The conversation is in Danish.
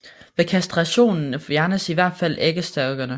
Ved kastrationen fjernes i hvert fald æggestokkene